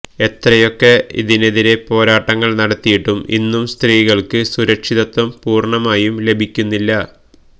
എത്രയൊക്കെ ഇതിനെതിരെ പോരാട്ടങ്ങള് നടത്തിയിട്ടും ഇന്നും സ്ത്രീകള്ക്ക് സുരക്ഷിതത്വം പൂര്ണമായും ലഭിക്കുന്നുമില്ല